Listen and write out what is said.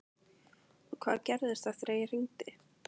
Og hvað gerðist eftir að ég hringdi?